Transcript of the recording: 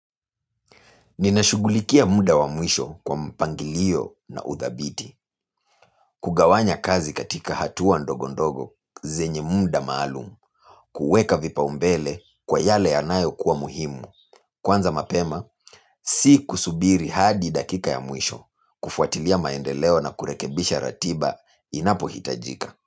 Ninashugulikia muda wa mwisho kwa mpangilio na uthabiti. Kugawanya kazi katika hatua ndogo ndogo zenye muda maalumu. Kueka vipaumbele kwa yale yanayo kuwa muhimu. Kwanza mapema, si kusubiri hadi dakika ya mwisho. Kufuatilia maendeleo na kurekebisha ratiba inapo hitajika.